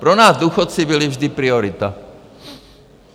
Pro nás důchodci byli vždy priorita.